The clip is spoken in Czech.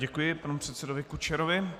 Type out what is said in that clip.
Děkuji panu předsedovi Kučerovi.